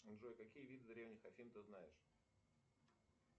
джой какие виды древних афин ты знаешь